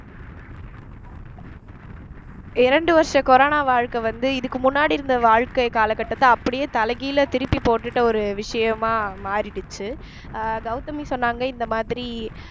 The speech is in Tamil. இரண்டு வருஷ corona வாழ்க்கை வந்து இதுக்கு முன்னாடி இருந்த வாழ்க்கை காலகட்டத்தை அப்படியே தலைகீழா திருப்பி போட்டுட்ட ஒரு விஷயமா மாறிடுச்சு அஹ் கௌதமி சொன்னாங்க இந்த மாதிரி